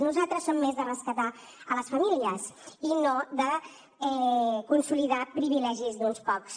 nosaltres som més de rescatar les famílies i no de consolidar privilegis d’uns pocs